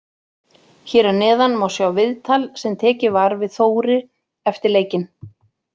Hér að neðan má sjá viðtal sem tekið var við Þóri eftir leikinn.